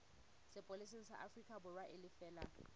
sepolesa sa aforikaborwa e lefe